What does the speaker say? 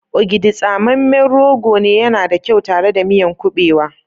Ogidi, tsamemen rogo ne, yana da kyau tare da miyan kubewa.